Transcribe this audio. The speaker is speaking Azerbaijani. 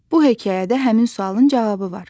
Bu hekayədə həmin sualın cavabı var.